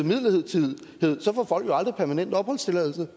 midlertidigt så får folk jo aldrig permanent opholdstilladelse